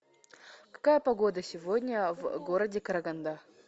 какая погода сегодня в городе караганда